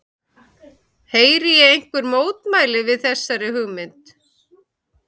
Heyri ég einhver mótmæli við þessari hugmynd?